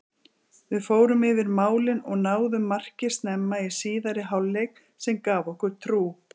Við fórum yfir málin og náðum marki snemma í síðari hálfleik sem gaf okkur trú.